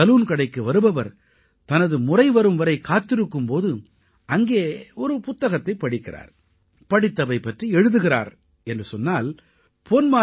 சலூன்கடைக்கு வருபவர் தனது முறைவரும் வரை காத்திருக்கும் போது அங்கே ஒரு புத்தகத்தைப் படிக்கிறார் படித்தவை பற்றி எழுதுகிறார் என்றால் பொன்